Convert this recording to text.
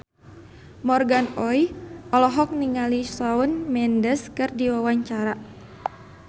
Morgan Oey olohok ningali Shawn Mendes keur diwawancara